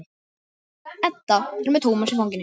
Edda er með Tómas í fanginu.